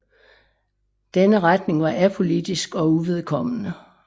Denne retning var apolitisk og uvedkommende